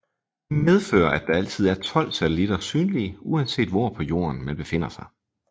Det medfører at der altid er tolv satellitter synlige uanset hvor på Jorden man befinder sig